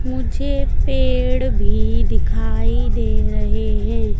मुझे पेड़ भी दिखाई दे रहे हैं।